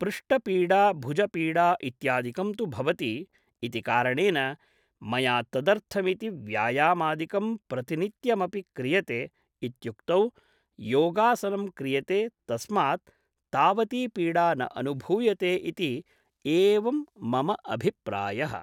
पृष्टपीडा भुजपीडा इत्यादिकं तु भवति इति कारणेन मया तदर्थमिति व्यायामादिकं प्रतिनित्यमपि क्रियते इत्युक्तौ योगासनं क्रियते तस्मात् तावती पीडा न अनुभूयते इति एवं मम अभिप्रायः